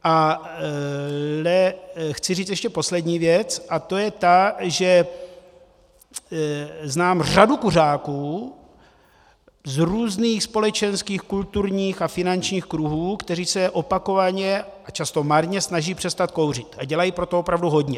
Ale chci říct ještě poslední věc a to je ta, že znám řadu kuřáků z různých společenských, kulturních a finančních kruhů, kteří se opakovaně a často marně snaží přestat kouřit a dělají pro to opravdu hodně.